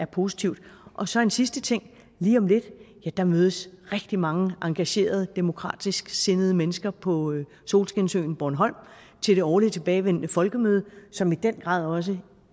positivt og så en sidste ting lige om lidt mødes rigtig mange engagerede demokratisksindede mennesker på solskinsøen bornholm til det årligt tilbagevendende folkemøde som i den grad også